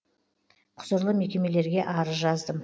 құзырлы мекемелерге арыз жаздым